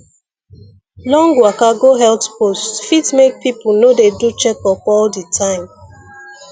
long waka go health post fit make people no dey do checkup all the time